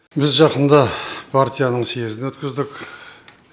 біз жақында партияның съезін өткіздік